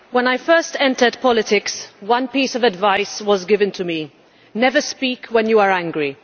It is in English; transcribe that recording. Mr President, when I first entered politics one piece of advice was given to me never speak when you are angry.